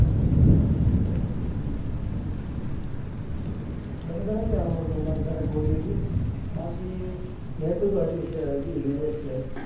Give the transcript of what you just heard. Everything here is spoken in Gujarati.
મને તો નથી સાંભળ્યું કે અમાર ઘરે ઘોડી હતી બાકી ભેશો તો હજી છે હજી રે છે.